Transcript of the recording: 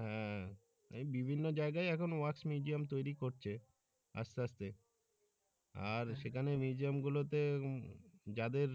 আহ এই বিভিন্ন জায়গায় এখন wax museum তৈরি করছে আস্তে আস্তে আর সেখানে museum গুলোতে যাদের